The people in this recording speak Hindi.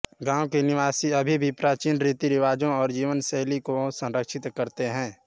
गाँव के निवासी अभी भी प्राचीन रीतिरिवाजों और जीवन शैली को संरक्षित करते हैं